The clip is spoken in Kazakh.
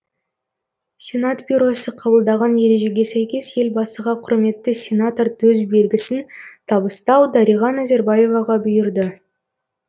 сенат бюросы қабылдаған ережеге сәйкес елбасыға құрметті сенатор төсбелгісін табыстау дариға назарбаеваға бұйырды